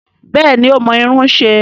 Bẹ́ẹ̀ni ó mọ irun ṣe